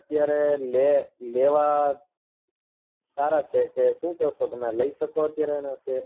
અત્યારે લે લેવા સારા છે કે સુ કેસો તમે લઇ શકો અત્યારે આના share